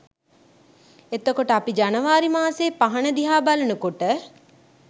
එතකොට අපි ජනවාරි මාසෙ පහන දිහා බලන කොට